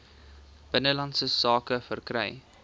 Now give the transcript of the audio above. binnelandse sake verkry